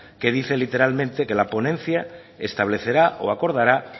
que dice literalmente que la ponencia establecerá o acordará